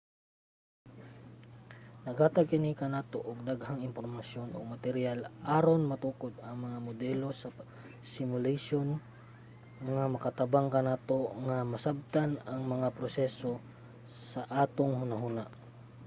naghatag kini kanato og daghang impormasyon ug materyal aron matukod ang mga modelo sa simulation nga makatabang kanato nga masabtan ang mga proseso sa atong hunahuna